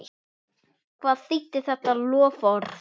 Hvað þýddi þetta loforð?